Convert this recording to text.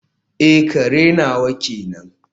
eh, kare nawa kenan